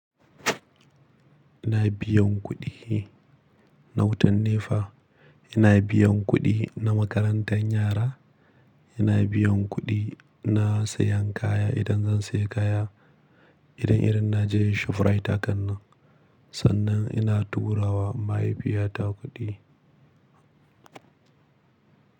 Ina biyan kuɗi na wutan NEPA, ina biyan kuɗi na makarantar yara, ina biyan kuɗi na sayan kaya idan zan saya kaya, idan irin na je ShopRite hakan nan. Sannan ina tura wa mahaifiyata kuɗi.